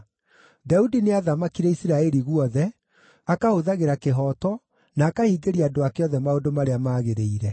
Daudi nĩathamakire Isiraeli guothe, akahũthagĩra kĩhooto, na akahingĩria andũ ake othe maũndũ marĩa maagĩrĩire.